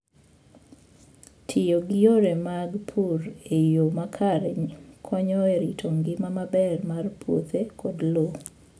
Tiyo gi yore mag pur e yo makare konyo e rito ngima maber mar puothe koda lowo.